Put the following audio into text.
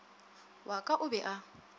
wa ka o be a